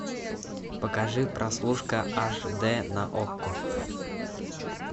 покажи прослушка аш дэ на окко